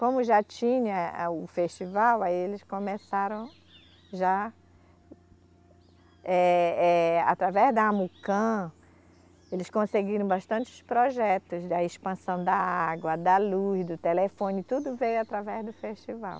Como já tinha o festival, aí eles começaram já, eh, eh, através da Amucan, eles conseguiram bastantes projetos da expansão da água, da luz, do telefone, tudo veio através do festival.